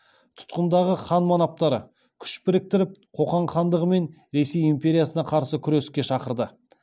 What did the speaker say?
тұтқындағы хан манаптарды күш біріктіріп қоқан хандығы мен ресей империясына қарсы күреске шақырды